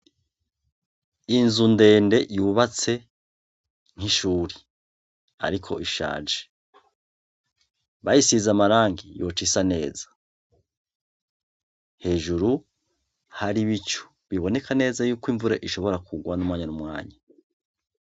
Inzu ndende yubatse nk' ishure. Ariko ishaje. Bayisize amarangi yoca isa neza. Hejuru hari ibicu biboneka neza na neza yuko imvura ishobora kugwa n'umwanya n'umwanya.